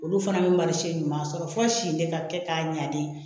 Olu fana bɛ marise ɲuman sɔrɔ fo si in de ka kɛ k'a ɲali